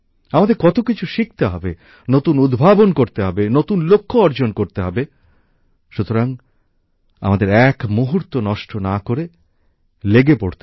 আমাদের কত কিছু শিখতে হবে নতুন উদ্ভাবন করতে হবে নতুন লক্ষ্য অর্জন করতে হবে সুতরাং আমাদের এক মুহূর্ত নষ্ট না করে লেগে পড়তে হবে